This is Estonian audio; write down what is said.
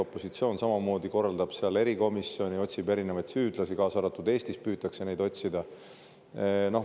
Opositsioon korraldab seal samamoodi erikomisjoni, otsib erinevaid süüdlasi, nagu ka Eestis püütakse neid otsida.